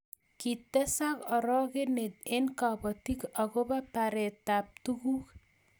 kitesak orokenet eng kabotik akobo baretab tuguk